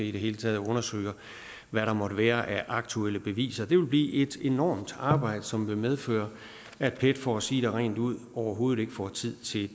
i det hele taget undersøge hvad der måtte være af aktuelle beviser det vil blive et enormt arbejde som vil medføre at pet for at sige det rent ud overhovedet ikke får tid til